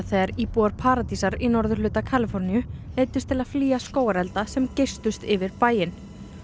þegar íbúar paradísar í norðurhluta Kaliforníu neyddust til að flýja skógarelda sem geystust yfir bæinn